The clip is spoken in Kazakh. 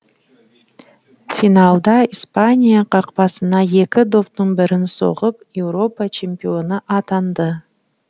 финалда испания қақпасына екі доптың бірін соғып еуропа чемпионы атанды